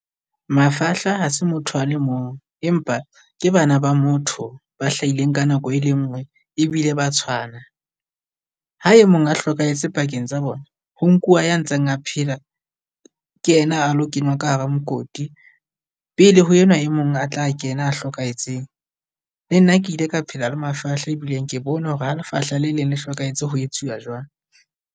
Mafahla ha se motho a le mong, empa ke bana ba motho ba hlahileng ka nako e le ngwe ebile ba tshwana. Ha e mong a hlokahetse pakeng tsa bona ho nkuwa ya ntseng a phela, ke yena a lo kenywa ka hara mokoti pele ho enwa e mong a tla kena a hlokahetseng. Le nna ke ile ka phela le mafahla ebileng ke bone hore ha lefahla le leng le hlokahetse ho etsuwa jwang.